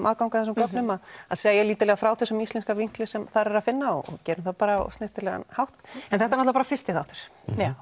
aðgang að þessum gögnum að að segja lítillega frá þessum íslenska vinkli sem þar er að finna og gerum það á snyrtilegan hátt en þetta er bara fyrsti þáttur